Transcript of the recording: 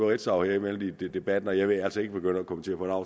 ritzau her midt i debatten og jeg vil altså ikke begynde at kommentere